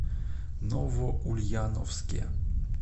новоульяновске